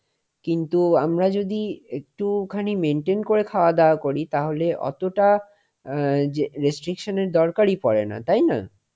কিন্তু আমরা যদি একটুখানি maintain করে খাওয়া দাওয়া করি তাহলে ওতটা অ্যাঁ restriction এর দরকারই পড়ে না তাই না?